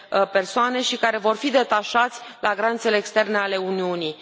persoane și care vor fi detașați la granițele externe ale Uniunii